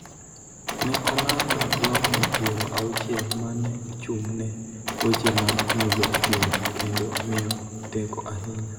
ne olando jogo piero auchiel ma ne ochung� ne weche ma mulo chuny kendo miyo teko ahinya